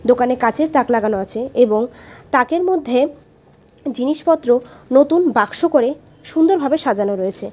দোকানে কাচের তাক লাগানো আছে এবং তাকের মধ্যে জিনিসপত্র নতুন বাক্স করে সুন্দরভাবে সাজানো রয়েছে।